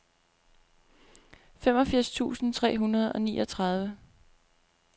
femogfirs tusind tre hundrede og niogtredive